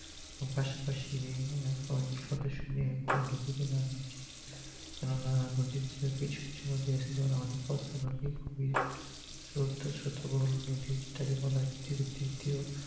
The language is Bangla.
পাশাপাশি সদস্য নিয়ে নদীতে নামা উচিত কেনোনা নদীর জল কিছু কিছু নদী আছে যেমন আমাদের পদ্মা নদী স্রোত তো স্রোতোবল নদী যেটাকে বলা হয় পৃথিবীর দ্বিতীয়